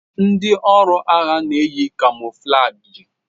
Ndi ọrụ agha na-eyi kamọflajị.